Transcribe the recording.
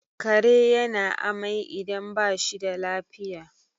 kare yana amai idan ba shi da lafiya